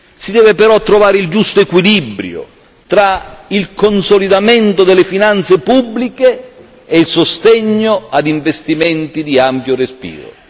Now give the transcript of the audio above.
Si deve però trovare il giusto equilibrio tra il consolidamento delle finanze pubbliche e il sostegno ad investimenti di ampio respiro.